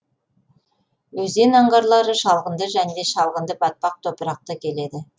өзен аңғарлары шалғынды және шалғынды батпақ топырақты келеді